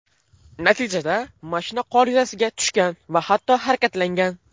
Natijada mashina qor yuzasiga tushgan va hatto harakatlangan.